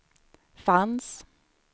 fanns